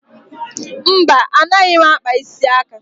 Mba, anaghị m akpa isi aka